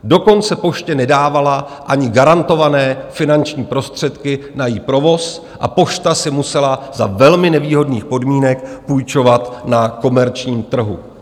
Dokonce poště nedávala ani garantované finanční prostředky na její provoz a pošta si musela za velmi nevýhodných podmínek půjčovat na komerčním trhu.